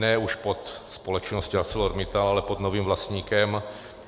Ne už pod společností ArcelorMittal, ale pod novým vlastníkem.